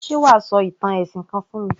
Ṣé wà á sọ ìtàn ẹ̀sìn kan fún mi?